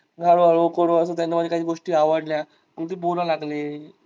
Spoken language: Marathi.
हळू हळू त्यांना माझ्या काही गोष्टी आवडल्या. कुठे बोलायला लागले.